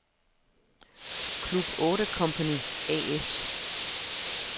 Club 8 Company A/S